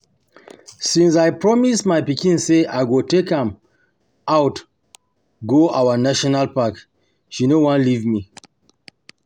Since I promise my pikin say I go take am out go our National Park she no wan leave me